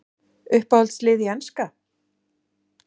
Uppáhalds lið í enska?